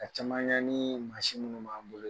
A caman ya ni maasin ninnu b'a bolo yen.